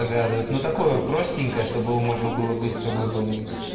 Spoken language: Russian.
догадывает ну такое простенькое чтобы его можно было быстро выполнить